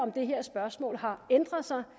det her spørgsmål har ændret sig